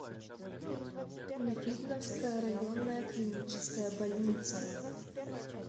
видновская районная клиническая больница